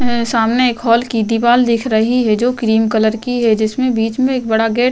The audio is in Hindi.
सामने एक हाल की दीवाल दिख रही है जो क्रीम कलर की है जिसमें बीच में एक बड़ा गेट --